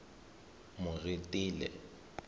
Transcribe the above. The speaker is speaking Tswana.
moretele